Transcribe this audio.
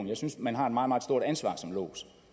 jeg synes man har et meget meget stort ansvar som lods